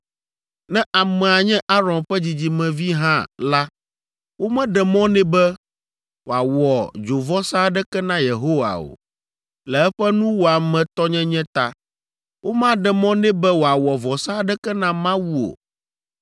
Ne amea nye Aron ƒe dzidzimevi hã la, womeɖe mɔ nɛ be wòawɔ dzovɔsa aɖeke na Yehowa o, le eƒe nuwɔametɔnyenye ta. Womaɖe mɔ nɛ be wòawɔ vɔsa aɖeke na Mawu o.